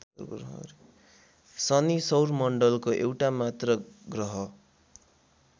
शनि सौरमण्डलको एउटामात्र ग्रह